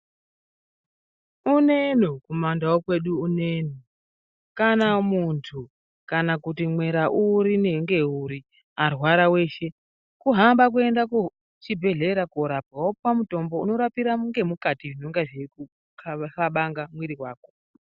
Uneno kumandau kwedu uneno, kana muntu kana kuti mwera uri ngeuri arwara eshe, kuhamba kuenda kuchibhedhlera korapwa wopuwa mutombo worapira ngemukati zvinonga zveikuhlabanga mwiri wako .